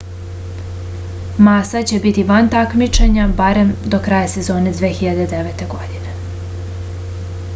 masa će biti van takmičenja barem do kraja sezone 2009. godine